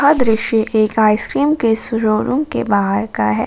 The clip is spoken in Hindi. यह दृश्य एक आइसक्रीम के शो रूम के बाहर का है।